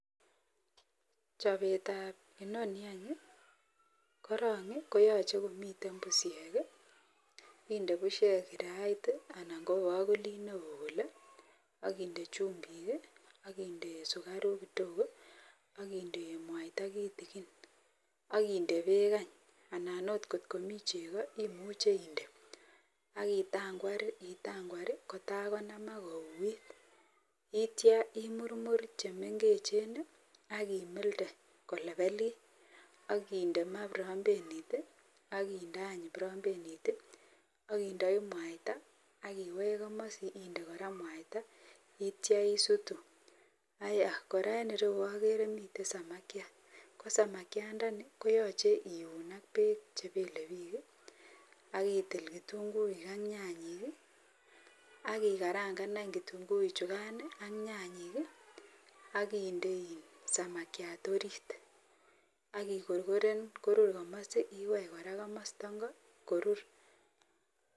Chopet ab inoni korong koyache Komiten bushek inde bushek kirait anan kobakulit neon akinde chumbik, akinde sugaruk tuten akinde mwaita kitigin akinde bek eny anan kotkomi chego imuche inde akitangwar itangwar kotaikonamak kouit itya imurmur chemengechen akimildee kolebelit akinde ma brambenit akinde any brambenit akindoi mwaita akiwech kamasin akinde koraa mwaita akitya isutu kora en ireyu agere miten samakiat ko samakiat ndani koyache keun ak bek chebelebik akitil kitunguik ak nyanyat akikarangan kitunguik chukan ak nyanyik akinde samakiat orit akikorgoren korur komokwek twan akimete kamasta ingo korur.